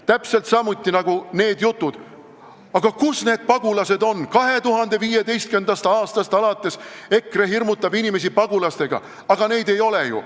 Täpselt samuti on hirmutamine see jutt, et kus need pagulased on, 2015. aastast alates hirmutab EKRE inimesi pagulastega, aga neid ei ole ju.